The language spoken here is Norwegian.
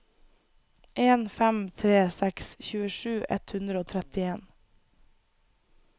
en fem tre seks tjuesju ett hundre og trettien